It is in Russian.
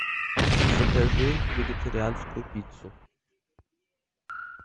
закажи вегетарианскую пиццу